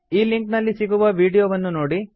ಈ ಲಿಂಕ್ ನಲ್ಲಿ ಸಿಗುವ ವೀಡಿಯೋವನ್ನು ನೋಡಿ